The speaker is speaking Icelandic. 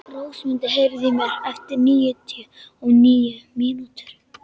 Rósmundur, heyrðu í mér eftir níutíu og níu mínútur.